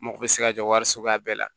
Mako bɛ se ka jɔ wari suguya bɛɛ la